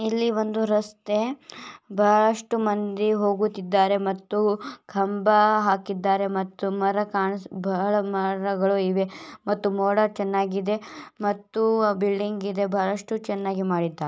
ಇಲ್ಲಿ ಒಂದು ರಸ್ತೆ ಬಹಳಷ್ಟು ಮಂದಿ ಹೋಗುತ್ತಿದ್ದಾರೆ ಮತ್ತು ಕಂಬ ಹಾಕಿದ್ದಾರೆ ಮತ್ತು ಮರ ಕಾಣಿಸು ಬಹಳ ಮರಗಳು ಇವೆ ಮತ್ತು ಮೋಡ ಚನ್ನಾಗಿದೆ ಮತ್ತು ಬಿಲ್ಡಿಂಗ್ ಇದೆ ಬಹಳಷ್ಟು ಚನ್ನಾಗಿ ಮಾಡಿದ್ದಾರೆ.